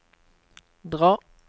dra